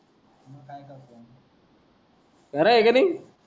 बरा हाय कि नाय